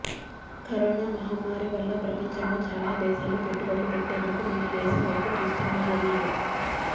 corona మహమ్మారి వల్ల ప్రపంచంలో చాలా దేశాలు పెట్టుబడులు పెట్టేందుకు మన దేశం వైపు చూస్తున్నారన్నారు